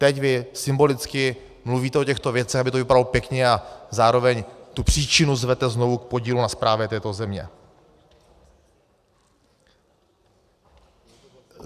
Teď vy symbolicky mluvíte o těchto věcech, aby to vypadalo pěkně, a zároveň tu příčinu zvete znovu k podílu na správě této země.